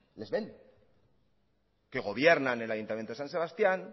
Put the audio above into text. les ven que gobiernan en el ayuntamiento de san sebastián